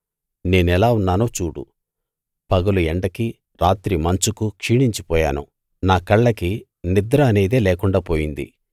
నేనెలా ఉన్నానో చూడు పగలు ఎండకీ రాత్రి మంచుకూ క్షీణించిపోయాను నా కళ్ళకి నిద్ర అనేదే లేకుండా పోయింది